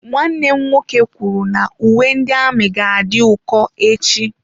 Nwanne m nwoke kwuru na uwe ndị amị ga-adị ụkọ echi.